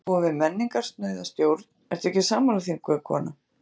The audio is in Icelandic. Við búum við menningarsnauða stjórn, ertu ekki sammála því, unga kona?